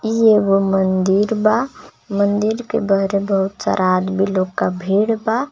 ई एगो मंदिर बा मंदिर के बहरे बहुत सारा आदमी लोग के भीड़ बा.